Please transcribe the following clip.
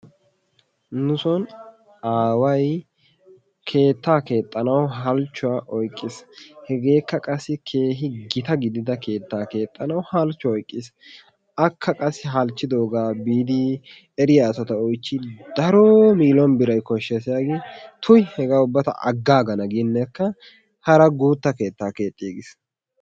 nu soon aaway keettaa keexxanawu halchchuwaa oyqqiis. hegeekka qassi keehi gita gidida keettaa keexxanawu halchchuwaa oyqqiis. akka qassi halchchidoogaa biidi eriyaa asata oychchin daroo millone biray kooshshees yaagin tuy hegaa ubba ta aggaagana gineekka hara guutta keettaa keexxigiis.